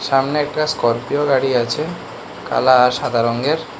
সামনে একটা স্করপিও গাড়ি আছে কালা আর সাদা রঙ্গের।